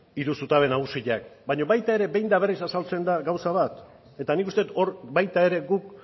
hiru zutabe nagusiak baina baita ere behin eta berriz azaltzen da gauza bat eta nik uste dut hor baita ere guk